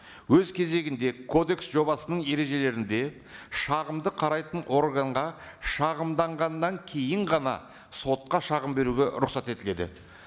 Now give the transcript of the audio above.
өз кезегінде кодекс жобасының ережелерінде шағымды қарайтын органға шағымданғаннан кейін ғана сотқа шағым беруге рұқсат етіледі